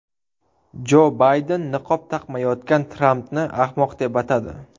Jo Bayden niqob taqmayotgan Trampni ahmoq deb atadi.